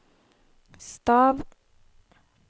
stav